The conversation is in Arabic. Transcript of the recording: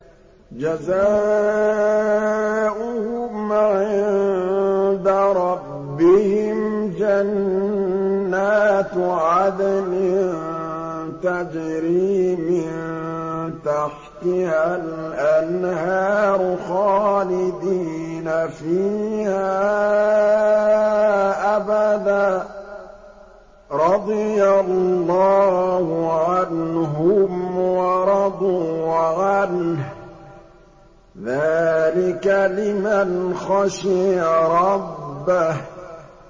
جَزَاؤُهُمْ عِندَ رَبِّهِمْ جَنَّاتُ عَدْنٍ تَجْرِي مِن تَحْتِهَا الْأَنْهَارُ خَالِدِينَ فِيهَا أَبَدًا ۖ رَّضِيَ اللَّهُ عَنْهُمْ وَرَضُوا عَنْهُ ۚ ذَٰلِكَ لِمَنْ خَشِيَ رَبَّهُ